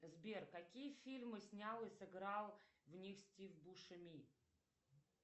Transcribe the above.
сбер какие фильмы снял и сыграл в них стив бушеми